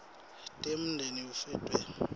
tamengameli fw de